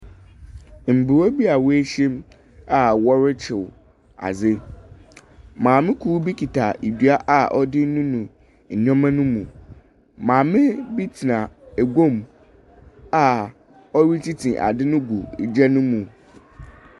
Mbaa bi a woehyiam a wɔrekyew adze. Maame kor bi kita dua a ɔdze renunu nneɛma no mu. Maame bi tsena eguam a ɔretete adze no gu gya no mu.